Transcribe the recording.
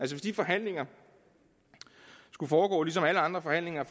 hvis de forhandlinger skulle foregå sådan som alle andre forhandlinger